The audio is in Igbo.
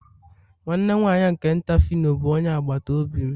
nwanne nwanyị nke nta phyno bụ onye agbata obi m.